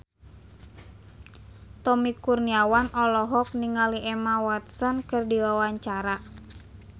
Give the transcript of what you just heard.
Tommy Kurniawan olohok ningali Emma Watson keur diwawancara